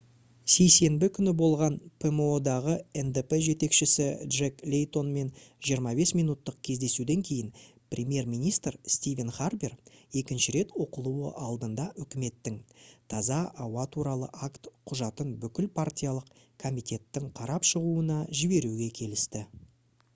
сейсенбі күні болған pmo-дағы ndp жетекшісі джек лейтонмен 25 минуттық кездесуден кейін премьер-министр стивен харпер екінші рет оқылуы алдында үкіметтің «таза ауа туралы акт» құжатын бүкіл партиялық комитеттің қарап шығуына жіберуге келісті